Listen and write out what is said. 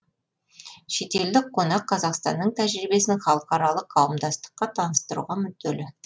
шетелдік қонақ қазақстанның тәжірибесін халықаралық қауымдастыққа таныстыруға мүдделі